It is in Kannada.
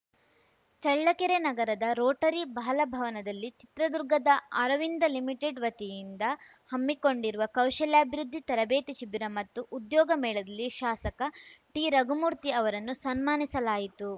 ಚಳ್ಳಕೆರೆ ನಗರದ ರೋಟರಿ ಬಾಲಭವನದಲ್ಲಿ ಚಿತ್ರದುರ್ಗದ ಅರವಿಂದ ಲಿಮಿಟೆಡ್‌ ವತಿಯಿಂದ ಹಮ್ಮಿಕೊಂಡಿರುವ ಕೌಶಲ್ಯಾಭಿವೃದ್ಧಿ ತರಬೇತಿ ಶಿಬಿರ ಮತ್ತು ಉದ್ಯೋಗ ಮೇಳದಲ್ಲಿ ಶಾಸಕ ಟಿರಘುಮೂರ್ತಿ ಅವರನ್ನು ಸನ್ಮಾನಿಸಲಾಯಿತು